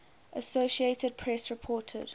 associated press reported